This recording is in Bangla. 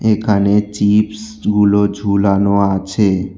এখানে চিপসগুলো ঝুলানো আছে।